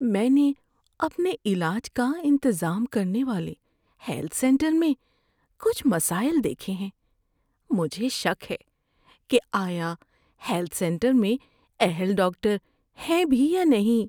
میں نے اپنے علاج کا انتظام کرنے والے ہیلتھ سینٹر میں کچھ مسائل دیکھے ہیں۔ مجھے شک ہے کہ آیا ہیلتھ سینٹر میں اہل ڈاکٹر ہیں بھی یا نہیں۔